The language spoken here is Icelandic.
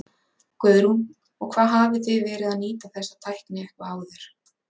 Guðrún: Og hvað hafið þið verið að nýta þessa tækni eitthvað áður?